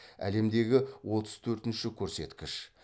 әлемдегі отыз төртінші көрсеткіш